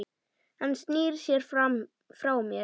Hann snýr sér frá mér.